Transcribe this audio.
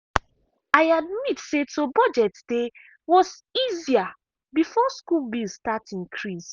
i admit say to budget dey was easier before school bill start increase.